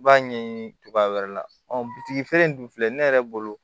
I b'a ɲɛɲini cogoya wɛrɛ la bitigi in dun filɛ ne yɛrɛ bolo